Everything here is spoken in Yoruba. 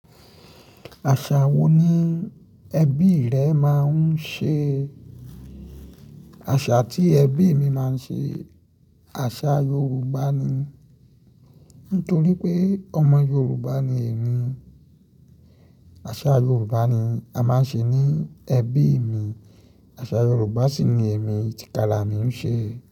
Àṣà wo ni ẹbí rẹ máa ń ṣe? Àṣà tí ẹbí mi máa ń ṣe, àṣà Yorùbá ni. Nítorí pé ọmọ Yorùbá ni èmi. Àṣà Yorùbá ni a máa ń ṣe ní ẹbí mi. Àṣà Yorùbá sì ni èmi tìkára mi ń ṣe.